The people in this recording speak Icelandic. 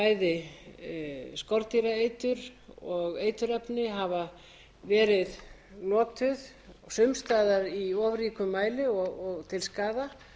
bæði skordýraeitur og eiturefni hafa verið notuð og sums staðar í of ríkum mæli og til skaða